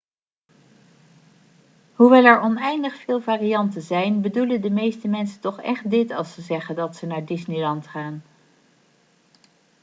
hoewel er oneindig veel varianten zijn bedoelen de meeste mensen toch echt dit als ze zeggen dat ze naar disneyland gaan'